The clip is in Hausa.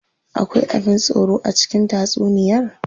Akwai abin tsoro a cikin tatsuniyar?